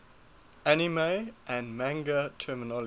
anime and manga terminology